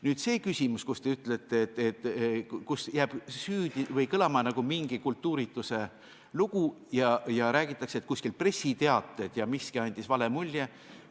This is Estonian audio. Nüüd see küsimus, millest jääb kõlama mingisugune kultuurituse lugu ja see, et räägitakse, et kuskil olid pressiteated ja miski andis vale mulje.